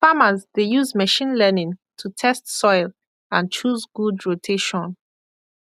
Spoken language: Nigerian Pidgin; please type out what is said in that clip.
farmers dey use machine learning to test soil and choose good rotation